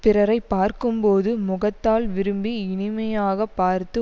பிறரை பார்க்கும் போது முகத்தால் விரும்பி இனிமையாக பார்த்து